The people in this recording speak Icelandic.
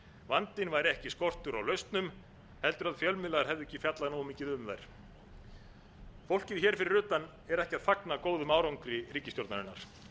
vandinn væri ekki skortur á lausnum heldur að fjölmiðlar hefðu ekki fjallað nógu mikið um þær fólkið hér fyrir utan er ekki að fagna góðum árangri ríkisstjórnarinnar